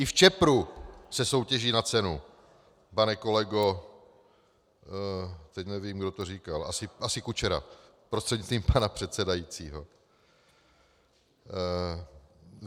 I v Čepru se soutěží na cenu, pane kolego - teď nevím, kdo to říkal, asi Kučera, prostřednictvím pana předsedajícího.